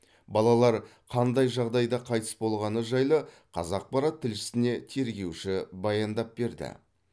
балалар қандай жағдайда қайтыс болғаны жайлы қазақпарат тілшісіне тергеуші баяндап берді